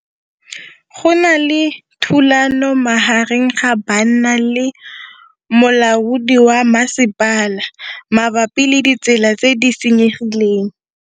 Go na le thulanô magareng ga banna le molaodi wa masepala mabapi le ditsela tse di senyegileng.